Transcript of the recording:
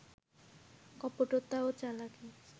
কপটতা ও চালাকি